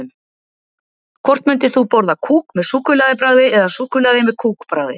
Hvort myndir þú borða kúk með súkkulaði bragði eða súkkulaði með kúk bragði?